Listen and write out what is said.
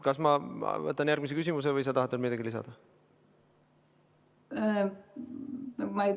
Kas ma võtan järgmise küsimuse või sa tahad veel midagi lisada?